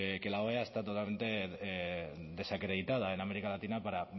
que la oea está totalmente desacreditada en américa latina para